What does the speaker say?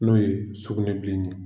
N'o ye sugunɛbilen ye